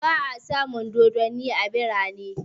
Ba'a samun dodanni a birane